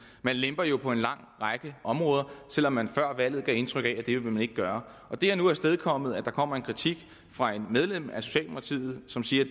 man lemper jo på en lang række områder selv om man før valget gav indtryk af at det ville man ikke gøre det har nu afstedkommet at der kommer en kritik fra et medlem af socialdemokratiet som siger